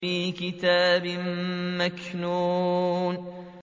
فِي كِتَابٍ مَّكْنُونٍ